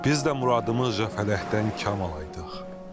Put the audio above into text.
Biz də muradımızca fələkdən kam alaydıq.